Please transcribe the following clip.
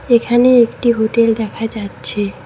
এখানে একটি হোটেল দেখা যাচ্ছে।